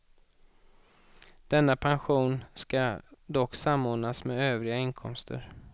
Denna pension ska dock samordnas med övriga inkomster.